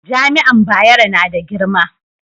jami'an Bayero na da girma